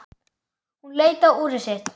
Hún leit á úrið sitt.